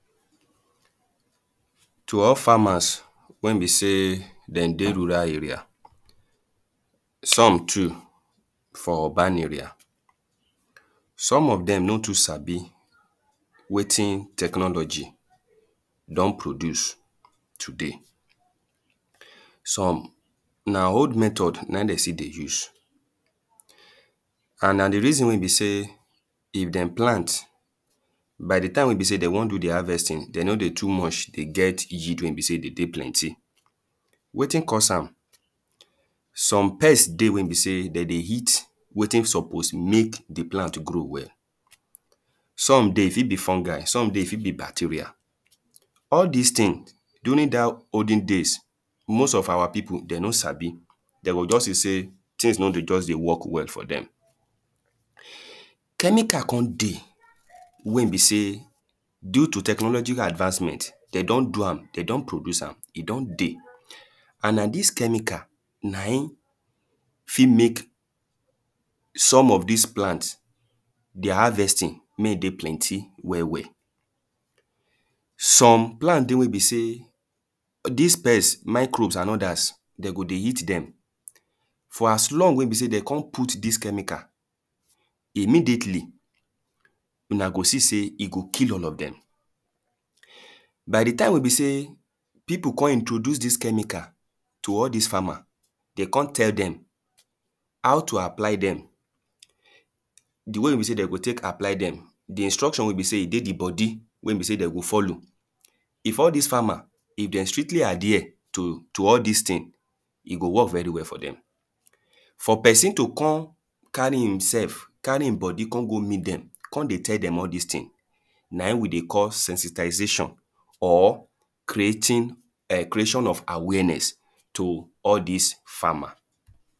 to all farmers wen be sey den dey rural area, some too for urban area, some of dem no too sabi wetin technology don produce today. some na old method na in de still dey use and na di reason be sey if dem plant by the time wey be say de won do di harvesting but di yielding no dey too plenty, na wetin dey caus am some pest dey wen besey de dey eat wetin suppose mek di plant mek e grow well. som dey e fit be fungi, e fit be bacteria all dis tin during dat olden days, most of our pipu den no sabi de go just dey tins just no dey work well for dem chemical kon dey wen be sey due to technological advancement, de don do am e don tey and na dis chemical na in fit mek some of dis plant their harvesting mey e dey plenty well well. some plent dey wen be sey dis pest, microbes and others den go dey eat dem, for as long wen be sey de kon put dis chemicals and other, imediately una go see sey e go kill all of dem. by di time wen be sey pipu kon introduce dis chemical to farmers, de kon tell dem how to appy dem di wey wen be sey de go tek apply dem, di instructin wen be sey den go follow if all dis farmer, if den stictly adhere to to all dis tin, e go work very well for dem. for pesin to kon carry im self carry im body kon go meet dem con dey tell dem all dis tins na in we dey call ensitaization. or creating cration of awareness to all dis farmers.